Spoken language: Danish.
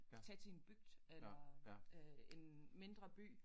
Tag til en bygd eller øh en mindre by